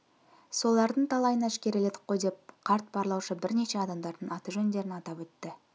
солардың талайын әшкереледік қой деп қарт барлаушы бірнеше адамдардың аты-жөндерін атап өтті